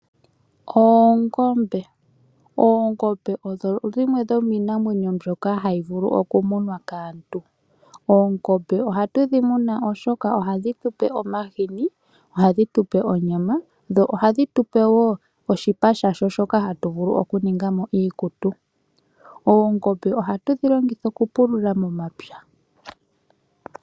Oongombe Oongombe odho dhimwe dho miinamwenyo mbyoka hayi vulu oku munwa kaantu . Oongombe ohatu dhi muna oshoka ohadhi tu pe omahini, ohadhi tu pe onyama, dho ohadhi tu pe woo oshipa shasho shoka ha tu vulu oku ninga mo iikutu. Oongombe ohatu dhi longitha oku pulula momapya.